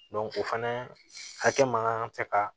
o fana hakɛ man kan ka kɛ ka